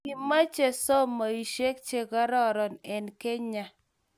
Kimache somoishek che kararan en kenya